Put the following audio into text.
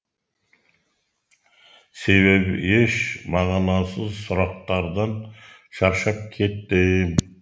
себебі еш мағынасыз сұрақтардан шаршап кеттім